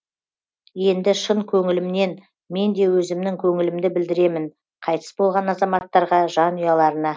енді шын көңілімнен мен де өзімнің көңілімді білдіремін қайтыс болған азаматтарға жанұяларына